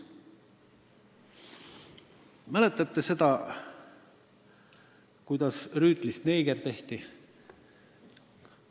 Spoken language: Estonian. Kas seda mäletate, kuidas Rüütlist neeger tehti?